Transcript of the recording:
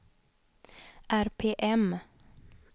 RPM